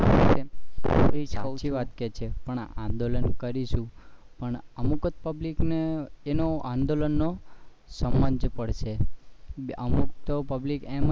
અમુક જ public ને તેનું આંદોલન પણ અમુક તો public તો એમજ